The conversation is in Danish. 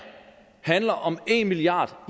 handler om en milliard